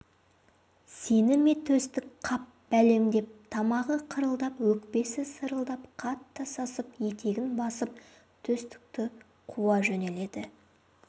сені ме төстік қап бәлем деп тамағы қырылдап өкпесі сырылдап қатты сасып етегін басып төстікті қуа жөнеледі